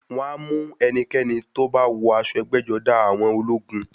Wọ́n á mú ẹnikẹ́ni tó bá wọ aṣọ ẹgbẹ́-jọdá àwọn ológun.